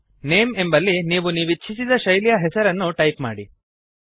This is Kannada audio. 000525 000429 ನೇಮ್ ಎಂಬಲ್ಲಿ ನೀವು ನೀವಿಚ್ಛಿಸಿದ ಶೈಲಿಯ ಹೆಸರನ್ನು ಟೈಪ್ ಮಾಡಿ